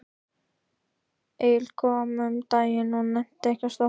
Egill kom um daginn og nennti ekkert að stoppa.